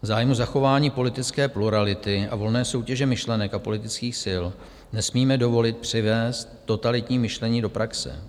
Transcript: V zájmu zachování politické plurality a volné soutěže myšlenek a politických sil nesmíme dovolit přivést totalitní myšlení do praxe.